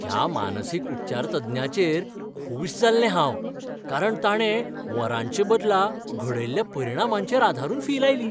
ह्या मानसीक उपचारतज्ञाचेर खूश जाल्लें हांव कारण ताणें वरांचे बदला घडयल्ल्या परिणामांचेर आदारून फी लायली.